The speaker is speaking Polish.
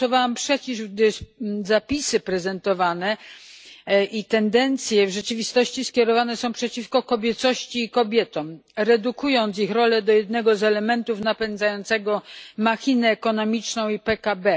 Głosowałam przeciw, gdyż prezentowane zapisy i tendencje w rzeczywistości skierowane są przeciwko kobiecości i kobietom, redukując ich rolę do jednego z elementów napędzającego machinę ekonomiczną i PKB.